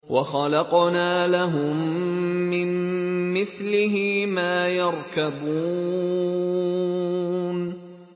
وَخَلَقْنَا لَهُم مِّن مِّثْلِهِ مَا يَرْكَبُونَ